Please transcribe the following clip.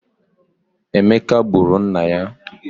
Emeka gburu nna ya